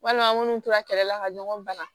Walima an minnu tora kɛlɛ la ka ɲɔgɔn bana